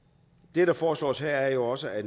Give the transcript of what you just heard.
det der foreslås her er jo også at